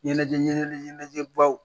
Ɲɛnajɛ ɲɛnajɛ ɲɛnajɛbaw